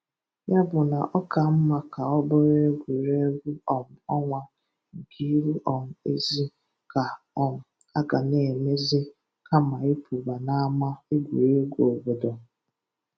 Yà bụ̀ nà ọ̀ kà mmà kà ọ̀ bụ̀rụ̀ égwùrégwù um ọ̀nwá nké íhù um ézì kà um à gà-nà émézì kàmà ị̀ pụ̀bà n'àmà égwùrégwù òbòdò.